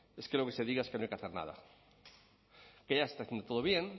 es que lo que se diga es que no hay que hacer nada que ya está todo bien